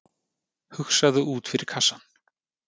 Hugsaðu út fyrir kassann